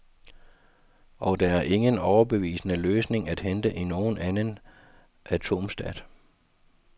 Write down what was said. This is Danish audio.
Og der er ingen overbevisende løsning at hente i nogen anden atomstat.